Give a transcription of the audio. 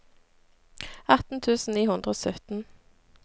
atten tusen ni hundre og sytten